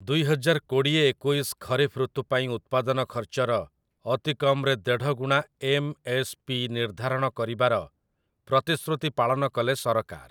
ଦୁଇହଜାର କୋଡ଼ିଏ-ଏକୋଇଶ ଖରିଫ ଋତୁ ପାଇଁ ଉତ୍ପାଦନ ଖର୍ଚ୍ଚର ଅତିକମ୍‌ରେ ଦେଢ଼ଗୁଣା ଏମ୍‌.ଏସ୍‌,ପି. ନିର୍ଦ୍ଧାରଣ କରିବାର ପ୍ରତିଶ୍ରୁତି ପାଳନ କଲେ ସରକାର ।